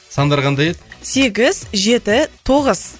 сандары қандай еді сегіз жеті тоғыз